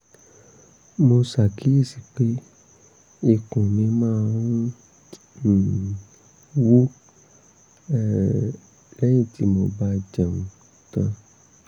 mo ṣàkíyèsí pé ikùn mi máa ń um wú um lẹ́yìn tí mo bá jẹun tán